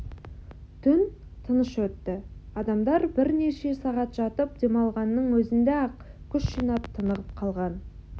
түн тыныш өтті адамдар бірнеше сағат жатып демалғанның өзінде-ақ күш жинап тынығып қалған